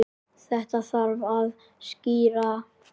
Þetta þarf að skýra.